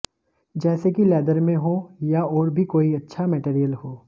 जैसे की लेदर में हो या और भी कोई अच्छा मेटेरियल हो